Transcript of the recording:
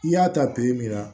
I y'a ta min na